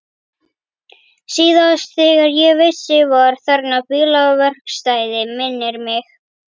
Síðast þegar ég vissi var þarna bílaverkstæði, minnir mig.